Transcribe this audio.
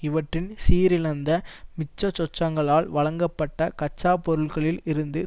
இவற்றின் சீரழிந்த மிச்சசொச்சங்களால் வழங்கப்பட்ட கச்சா பொருட்களில் இருந்து